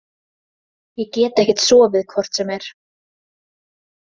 Ég get ekkert sofið hvort sem er.